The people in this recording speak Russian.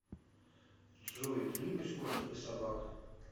джой ты любишь кошек и собак